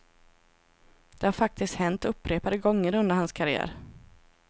Det har faktiskt hänt upprepade gånger under hans karriär.